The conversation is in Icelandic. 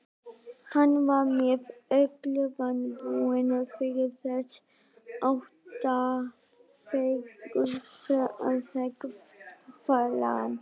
Hann var með öllu vanbúinn fyrir þess háttar feigðarflan.